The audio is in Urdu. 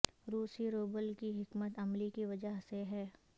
روسی روبل کی حکمت عملی کی وجہ سے ہے